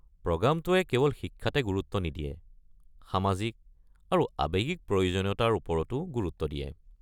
প্ৰগ্ৰামটোয়ে কেৱল শিক্ষাতে গুৰুত্ব নিদিয়ে, সামাজিক আৰু আৱেগিক প্ৰয়োজনীয়তাৰ ওপৰতো গুৰুত্ব দিয়ে।